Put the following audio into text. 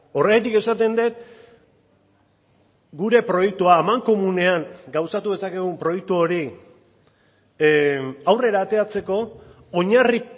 horregatik esaten dut gure proiektua amankomunean gauzatu dezakegun proiektu hori aurrera ateratzeko oinarri